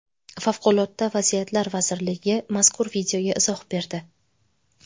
Favqulodda vaziyatlar vazirligi mazkur videoga izoh berdi.